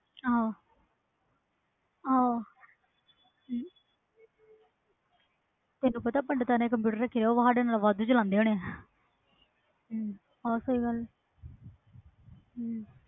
ਆ ਹੋ ਤੈਨੂੰ ਪਤਾ ਪੰਡਤਾਂ ਨੇ computer ਰੱਖੇ ਹੁੰਦੇ ਉਹ ਸਾਡੇ ਤੋਂ ਜਿਆਦਾ ਚਲਾਂਦੇ ਹੁਣੇ ਆ